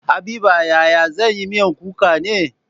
Habiba yaya zan yi miyan kuka ne?